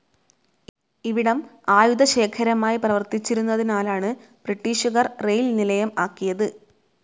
ഇവിടം ആയുധശേഖരമായി പ്രവർത്തിച്ചിരുന്നതിനാലാണ് ബ്രിട്ടിഷുകാർ റെയിൽ നിലയം ആക്കിയത്.